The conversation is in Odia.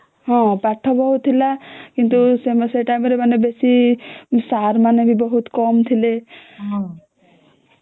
ହଁ ପାଠ ଭଲ ଥିଲା କିନ୍ତୁ ସେ ଟାଇମ ରେ ବେଶୀ ସାର ମାନେ ବି ବହୁତ କାମ ଥିଲେ